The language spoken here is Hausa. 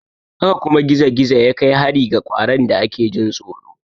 Haka kuma gizo-gizo ya kai hari ga ƙwaron da ake jin tsoro.